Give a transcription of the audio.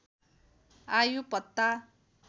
आयु पत्ता